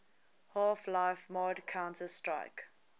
half life mod counter strike